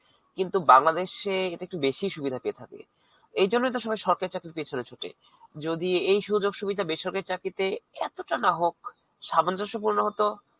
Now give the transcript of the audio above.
কিন্তু, বাংলাদেশে এটা একটু বেশিই সুবিধা পেয়ে থাকে. এই জন্যই তো সবাই সরকারী চাকরির পিছনে ছুঠে. যদি এই সুযোগ সুবিধা বেসরকারীতে এতটা নাহোক সামঞ্জস্যপূর্ণ হতো,